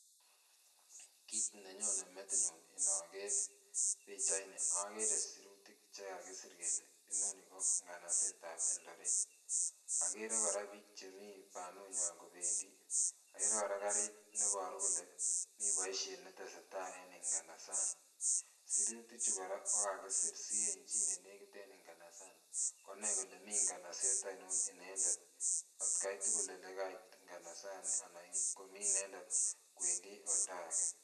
Kiit nenyone metinyun inoker pichaini okere sirutik chekakisir kele inoni ko nganasetab Eldoret. Okere kora biik chemii banunywan kobendii, okere kora kariit neboru kole mi boisiet netesetai eng nganasani sirutik chu kora kokakisir si en chi nenekit en nganasani konai kole mi nganaset oinon inendet otkai tukul elekait nganasani anan komii inedndet kwendii oldake